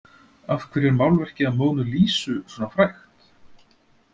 Af hverju er málverkið af Mónu Lísu svona frægt?